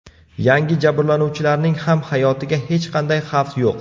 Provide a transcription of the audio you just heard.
Yangi jabrlanuvchilarning ham hayotiga hech qanday xavf yo‘q.